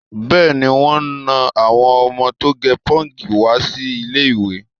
Bẹ́ẹ̀ni, wọn nà àwọ́n ọmọ tó gẹ pọ́ǹkì wá sí ilé-ìwé.